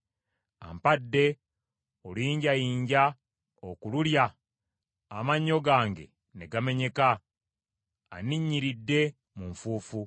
Ampadde oluyinjayinja okululya amannyo gange ne gamenyeka; anninnyiridde mu nfuufu.